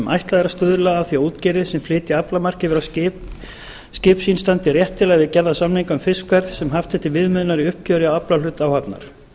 ætlað er að stuðla að því að útgerðir sem flytja aflamark yfir á skip sín standi réttilega við gerða samninga um fiskverð sem haft er til viðmiðunar í uppgjöri á aflahlut áhafnar